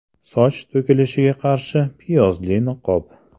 Soch to‘kilishiga qarshi piyozli niqob.